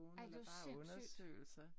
Ej det jo sindssygt!